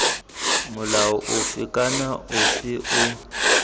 molao ofe kana ofe o